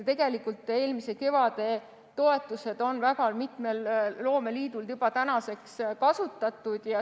Tegelikult on eelmise kevade toetused väga mitmel loomeliidul juba tänaseks kasutatud.